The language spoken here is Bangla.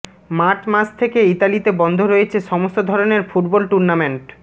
মার্চ মাস থেকে ইতালিতে বন্ধ রয়েছে সমস্ত ধরনের ফুটবল টুর্নামেন্ট